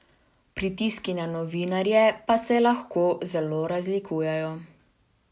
Pritiski na novinarje pa se lahko zelo razlikujejo.